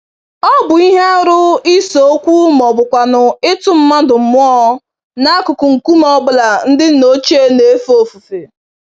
Ọ bụ ihe arụ ise-okwu mọbụkwanụ̀ ịtụ mmadụ mmụọ, n'akụkụ nkume ọ bụla ndị nna ochie n'éfè ofufe.